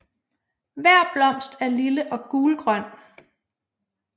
Hver blomst er lille og gulgrøn